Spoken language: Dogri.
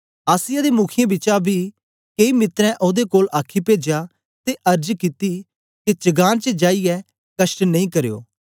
आसिया दे मुखीयें बिचा बी केई मित्रें ओदे कोल आखी पेजया ते अर्ज कित्ती के चगान च जाईयै कष्ट नेई करयो